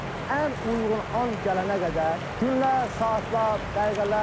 Və ən uyğun an gələnə qədər, günlər, saatlar, dəqiqələr.